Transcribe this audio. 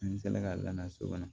N fɛnɛ ka laada so kɔnɔ